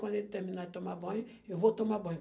Quando ele terminar de tomar banho, eu vou tomar banho.